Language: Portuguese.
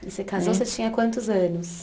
E você casou, você tinha quantos anos?